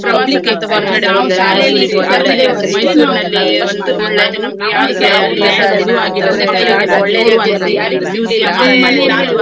Public exam ಅಂತ ನಮ್ಗೆ ಆ ಸಿ~ ಆರನೇ class ಅಲ್ಲಿರುವಾಗ ಬಂದದ್ದು. ಅದು first ನಾನ್ ನಾನು ನಾವು ಯಾವು ತರಗತಿಯಲ್ಲಿ ನಾನ್ first start ಅದು ಮಾತ್ಯಾರಿಗೂ ಸಿಗ್ಲಿಲ್ಲ ಆದ್ಮೇಲೆ.